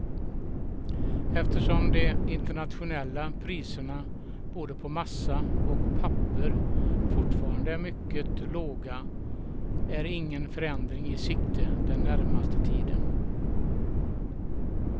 Eftersom de internationella priserna både på massa och papper fortfarande är mycket låga är ingen förändring i sikte den närmaste tiden.